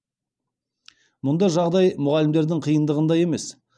мұнда жағдай мұғалімдердің қиындығында емес